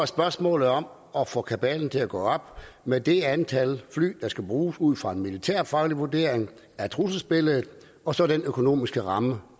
spørgsmålet om at få kabalen til at gå op med det antal fly der skal bruges ud fra en militærfaglig vurdering af trusselsbilledet og så den økonomiske ramme